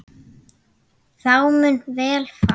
Þá mun vel fara.